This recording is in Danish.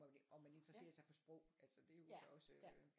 Om man interesserer sig for sprog altså det er jo så også øh